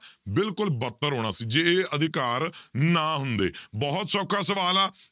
ਬਿਲਕੁਲ ਬੱਤਰ ਹੋਣਾ ਸੀ ਜੇ ਇਹ ਅਧਿਕਾਰ ਨਾ ਹੁੰਦੇ ਬਹੁਤ ਸੌਖਾ ਸਵਾਲ ਆ,